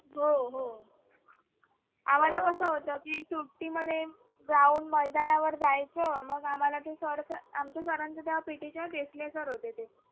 हो हो हो आम्हाला कसं होतं की सुट्टी मध्ये जाऊन मैदानावर जायचं. आमच्या sir चे तेव्हा पीटीच्या देसले sir होते ते